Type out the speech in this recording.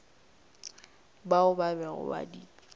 bao ba bego ba di